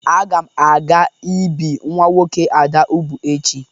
Agam aga ibu nwa nwoke Ada ubu echi